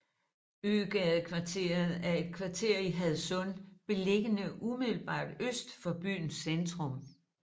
Øgadekvarteret er et kvarter i Hadsund beliggende umiddelbart øst for byens centrum